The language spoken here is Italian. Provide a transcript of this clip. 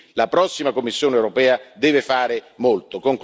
Quindi la prossima Commissione europea deve fare molto.